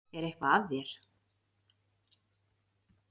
Er eitthvað að þér?